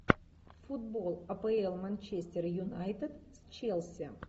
футбол апл манчестер юнайтед с челси